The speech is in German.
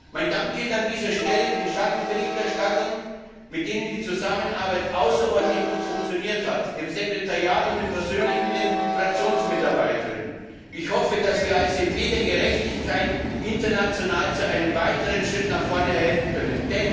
Mein Dank gilt an dieser Stelle den Schattenberichterstattern, mit denen die Zusammenarbeit außerordentlich gut funktioniert hat, dem Sekretariat und den persönlichen wie den FraktionsmitarbeiterInnen. Ich hoffe, dass wir als EP der Gerechtigkeit international zu einem weiteren Schritt nach vorne verhelfen können.